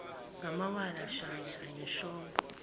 ngamawala shange angishongo